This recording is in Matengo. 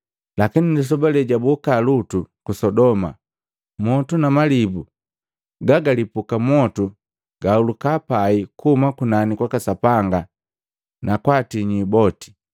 Lakini lisoba lejaboka Lutu ku Sodoma, motu na malibu gagalipuka mwotu gahuluka pai kuhuma kunani kwaka Sapanga nakwaa kupisa boti.